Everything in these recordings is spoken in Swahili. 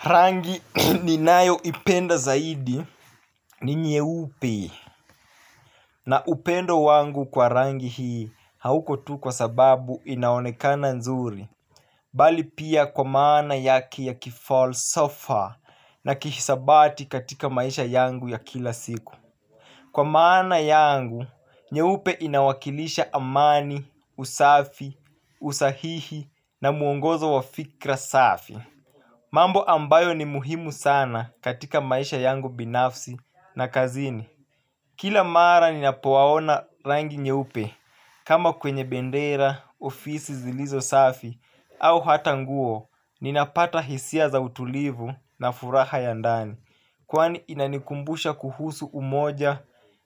Rangi ninayo ipenda zaidi ni nyewupe na upendo wangu kwa rangi hii hauko tu kwa sababu inaonekana nzuri. Bali pia kwa maana yake ya kifalsafa na kihasabati katika maisha yangu ya kila siku. Kwa maana yangu, nyewupe inawakilisha amani, usafi, usahihi na muongozo wa fikra safi. Mambo ambayo ni muhimu sana katika maisha yangu binafsi na kazini. Kila mara ninapowaona rangi nyeupe kama kwenye bendera, ofisi zilizo safi au hatanguo, ninapata hisia za utulivu na furaha ya ndani kwani inanikumbusha kuhusu umoja,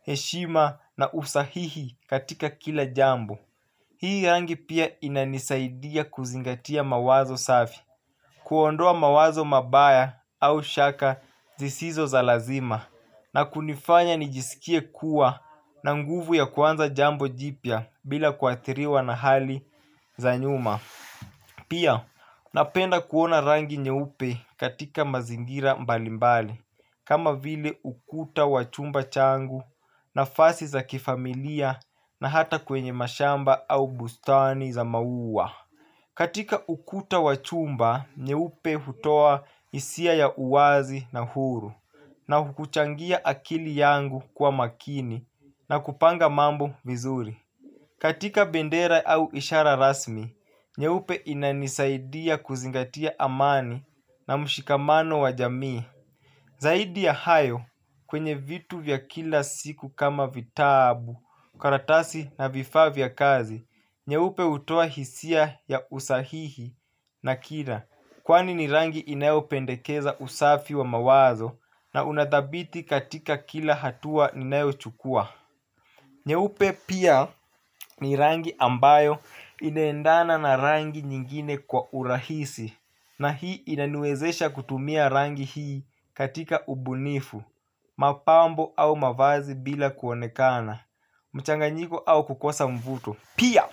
heshima na usahihi katika kila jambo. Hii rangi pia inanisaidia kuzingatia mawazo safi. Kuondoa mawazo mabaya au shaka zisizo za lazima na kunifanya nijisikie kuwa na nguvu ya kuanza jambo jipya bila kuatiriwa na hali za nyuma. Pia napenda kuona rangi nyeupe katika mazingira mbalimbali kama vile ukuta wac humba changu nafasi za kifamilia na hata kwenye mashamba au bustani za mauwa. Katika ukuta wachumba, nyeupe hutoa isia ya uwazi na huru na hukuchangia akili yangu kwa makini na kupanga mambo vizuri. Katika bendera au ishara rasmi, nyeupe inanisaidia kuzingatia amani na mshikamano wa jamii. Zaidi ya hayo kwenye vitu vya kila siku kama vitabu, karatasi na vifa vya kazi, nyeupe utoa hisia ya usahihi na kila, kwani ni rangi inayopendekeza usafi wa mawazo na unadabiti katika kila hatua inayochukua. Nyeupe pia ni rangi ambayo inendana na rangi nyingine kwa urahisi na hii inaniwezesha kutumia rangi hii katika ubunifu, mapambo au mavazi bila kuonekana, mchanganyiko au kukosa mvuto. Pia,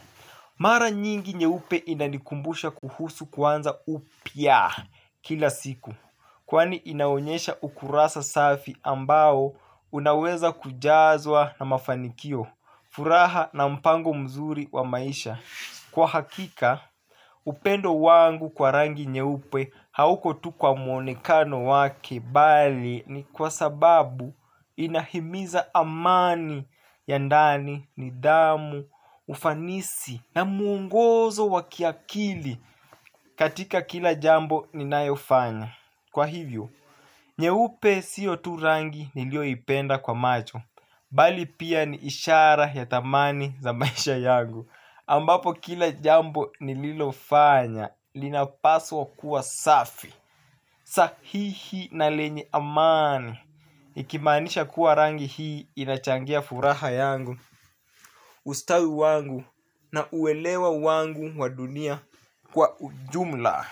mara nyingi nye upe inanikumbusha kuhusu kwanza upia kila siku kwani inaonyesha ukurasa safi ambao unaweza kujazwa na mafanikio. Furaha na mpango mzuri wa maisha. Kwa hakika, upendo wangu kwa rangi nye upe hauko tu kwa mwonekano wake bali ni kwa sababu inahimiza amani ya ndani, nidamu, ufanisi na muungozo wakiakili katika kila jambo ninaeufanya. Kwa hivyo, nyeupe siyo tu rangi nilio ipenda kwa macho. Bali pia ni ishara ya tamani za maisha yangu ambapo kila jambo nililofanya linapaswa kuwa safi. Sahihi na lenye amani ikimanisha kuwa rangi hii inachangia furaha yangu, ustawi wangu na uelewa wangu wa dunia kwa ujumla.